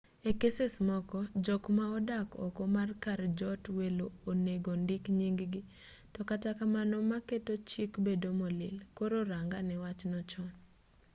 e keses moko jok ma odak oko mar kar jot welo onego ondik nying-gi to katakamano ma keto chik bedo molil koro rangane wachno chon